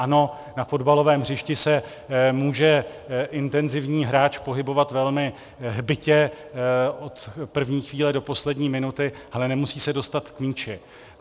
Ano, na fotbalovém hřišti se může intenzivní hráč pohybovat velmi hbitě od první chvíle do poslední minuty, ale nemusí se dostat k míči.